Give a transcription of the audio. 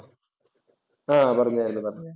ആ പറഞ്ഞാരുന്നു പറഞ്ഞു.